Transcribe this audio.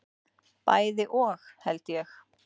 Bæði og held ég.